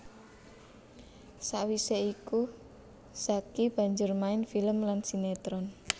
Sawisé iku Zacky banjur main film lan sinetron